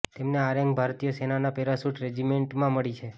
તેમને આ રેન્ક ભારતીય સેનાના પેરાશૂટ રેજિમેન્ટમાં મળી છે